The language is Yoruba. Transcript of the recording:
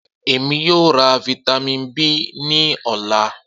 Emi yoo ra Vitamin B ni ọla